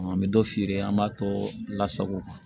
An bɛ dɔ feere an b'a tɔ lasago